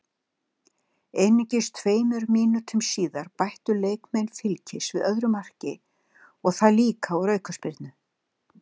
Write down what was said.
Einungis tveimur mínútum síðar bættu leikmenn Fylkis við öðru marki og það líka úr aukaspyrnu.